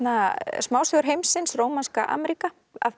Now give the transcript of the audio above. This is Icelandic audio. smásögur heimsins rómanska Ameríka